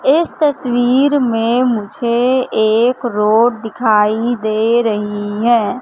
इस तस्वीर में मुझे एक रोड दिखाई दे रही है।